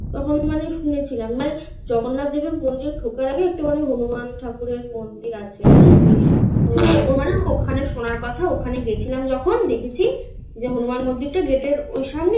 তখন মানে শুনেছিলাম. মানে জগন্নাথ দেবের মন্দিরে ঢোকার আগে একেবারে হনুমান ঠাকুরের মন্দির আছে. বুঝেছিস ওখানে শোনার কথা ওখানে গেছিলাম যখন দেখেছি যে হনুমান মন্দিরটা গেটের ওই সামনে